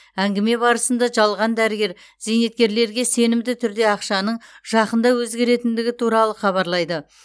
әңгіме барысында жалған дәрігер зейнеткерлерге сенімді түрде ақшаның жақында өзгеретіндігі туралы хабарлайды